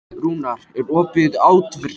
Rúnar, er opið í ÁTVR?